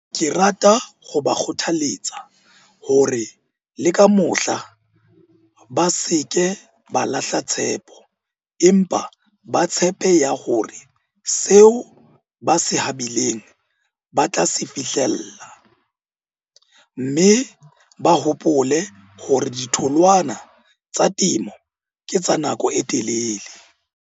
Ke rata ho ba kgothaletsa hore le ka mohla ba se ke ba lahla tshepo empa ba tshepe ya hore seo ba se habileng ba tla se fihlella, mme ba hopole hore ditholwana tsa temo ke tsa nako e telele.